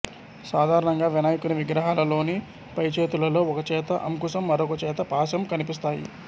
సాధారణంగా వినాయకుని విగ్రహాలలోని పైచేతులలో ఒకచేత అంకుశం మరొక చేత పాశం కనిపిస్తాయి